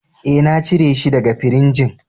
E,na cire shi daga firijin.